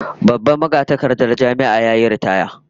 Babban magatakardar Jami'ar yayi ritaya